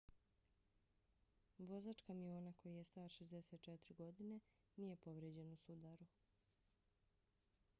vozač kamiona koji je star 64 godine nije povrijeđen u sudaru